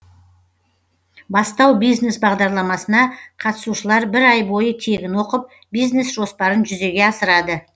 бастау бизнес бағдарламасына қатысушылар бір ай бойы тегін оқып бизнес жоспарын жүзеге асырады